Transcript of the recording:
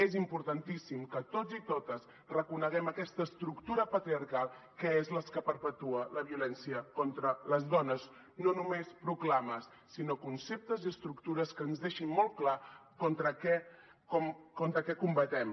és importantíssim que tots i totes reconeguem aquesta estructura patriarcal que és la que perpetua la violència contra les dones no només proclames sinó conceptes i estructures que ens deixin molt clar contra què combatem